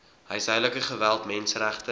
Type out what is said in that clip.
huishoudelike geweld menseregte